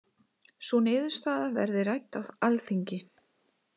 Sú niðurstaða verði rædd á Alþingi